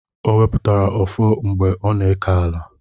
Ọ wepụtara ọfọ mgbe ọ na-eke ala